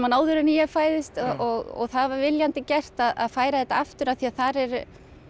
áður en ég fæðist og það var viljandi gert að færa þetta aftur því þar er